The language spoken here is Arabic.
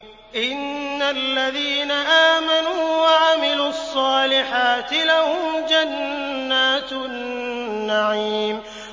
إِنَّ الَّذِينَ آمَنُوا وَعَمِلُوا الصَّالِحَاتِ لَهُمْ جَنَّاتُ النَّعِيمِ